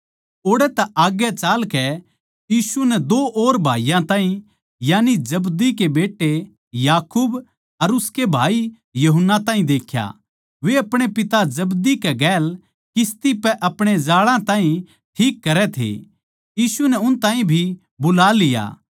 ओड़ तै आग्गै चालकै यीशु नै दो और भाईयाँ ताहीं यानी जब्दी के बेट्टे याकूब अर उसकै भाई यूहन्ना ताहीं देख्या वे अपणे पिता जब्दी कै गैल किस्ती पै अपणे जाळां ताहीं ठीक करै थे यीशु नै उन ताहीं भी बुला लिया